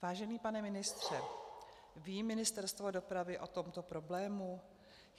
Vážený pane ministře, ví Ministerstvo dopravy o tomto problému?